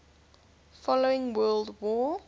following world war